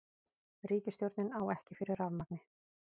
Ríkisstjórnin á ekki fyrir rafmagni